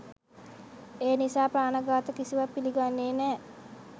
ඒ නිසා ප්‍රාණ ඝාත කිසිවත් පිළිගන්නේ නෑ.